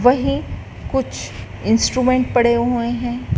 वही कुछ इंस्ट्रूमेंट पड़े हुए है।